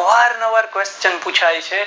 અવર નવર question પુછાય છે